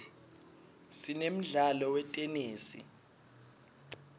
sinemdlalo wetenesi